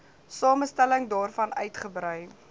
samestelling daarvan uitgebrei